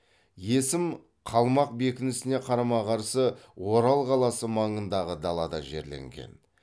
есім қалмақ бекінісіне қарама қарсы орал қаласы маңындағы далада жерленген